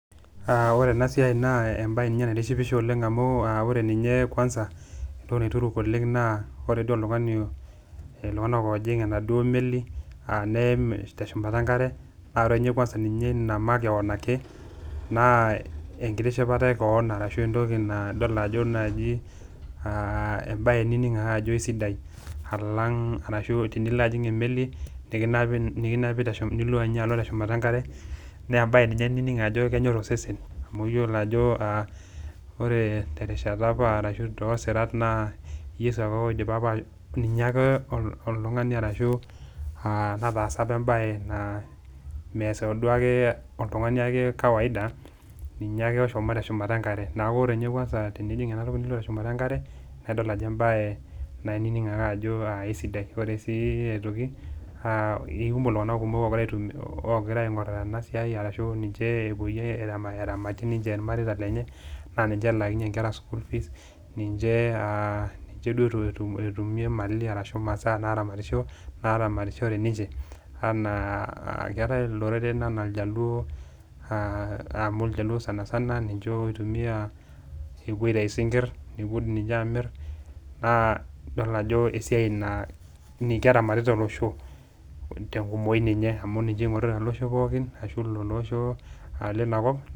Yiolo ena siai nee embae ninye naitishipisho oleng amu ore ninye kwanza entoki naituruk naa ore iltunganak ojing enaduo meli neim teshumara enkare naa ore ninye ina makeon ake naa ekitishipata orashu embae nining ake ajo keisidai orashu tenilo ajing emeli nikinapi teshumata enkare naa embae ninye nining ajo kenyor osesen .amu yiolo apa terishata orashu tosirat naa yeso apa ake otaasa embae naa mees ake oltungani duo ake kawaida ninye ake ishomo teshumata enkare neeku ore ninye angas kwansa tenijing ena toki nilo teshumata enkare naa ining ake ajo eisidai ,ore sii aitoki ikumok iltunganak oopoyie ena siai irmareita lenye laa ninye elaakinyie inkera school fees ninche etumie melai orashu masaa naramatishore ena keetae iloreren enaa ljaluo, amu lajaluo oitumiya sanisana apuo aitayu sinkir nepuo amir naa idol ajo esiai naa keramatita olosho tenkumoki ninye amu ninye eingorita iloshon pookin ilosho linakop.